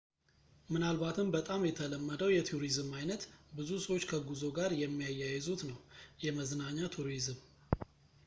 ምናልባትም በጣም የተለመደው የቱሪዝም ዓይነት ብዙ ሰዎች ከጉዞ ጋር የሚያያዙት ነው የመዝናኛ ቱሪዝም